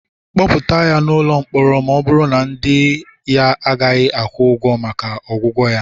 kpọpụta ya n'ụlọ mkpọrọ, ma ọ bụrụ na ndị ya agaghị akwụ ụgwọ maka ọgwụgwọ ya